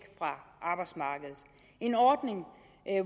fra arbejdsmarkedet en ordning